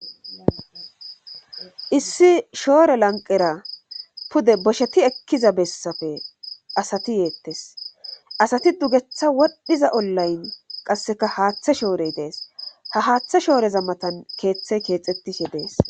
Issi shoore lanqera pude bosheti ekkiza bessafe asati yeettes asati dugetha wodhdhiza ollayn qasseka haaththa shoorey dees ha haaththa shooreza matan keeththey keexettishe dees.